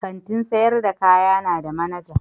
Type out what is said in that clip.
Kantin sayar da kaya na da manaja.